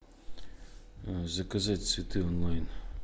заказать цветы онлайн